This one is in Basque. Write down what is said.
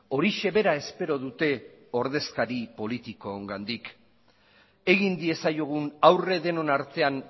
horixe bera espero dute ordezkari politikoengandik egin diezaiogun aurre denon artean